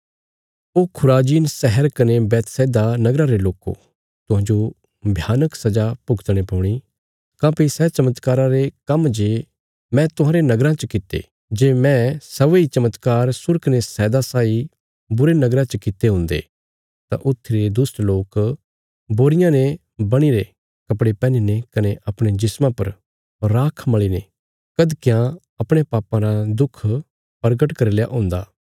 ओ Chorazin शहर कने Bethsaida नगरा रे लोको तुहांजो भयानक सजा भुगतणे पौणी काँह्भई सै चमत्कारा रे काम्म जे मैं तुहांरे नगराँ च कित्ते जे मैं सै वेई चमत्कार सूर कने सैदा साई बुरे नगरा च कित्ते हुन्दे तां ऊथी रे दुष्ट लोक बोरियां ने बणीरे कपड़े पहनीने कने अपणे जिस्मा पर राख मल़ीने कधकयां अपणयां पापां रा दुख परगट करी लेया हुंदा